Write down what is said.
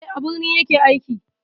Eh, a birni ya ke aiki.